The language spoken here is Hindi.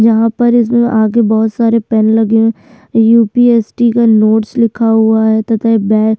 यहाँ पर इसमें आगे बहौत सारे पेन लगे हुए हैं युपीएससी का नोट्स लिखा हुआ है तथा एक बै --